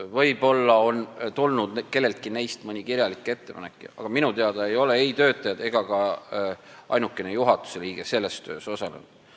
Võib-olla on kelleltki neist tulnud mõni kirjalik ettepanek, aga minu teada ei ole ei töötajad ega ka ainukene juhatuse liige selles töös osalenud.